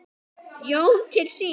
Jón til sín.